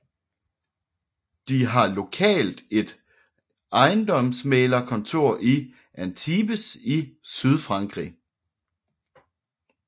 De har lokalt et ejendomsmægler kontor i Antibes i Sydfrankrig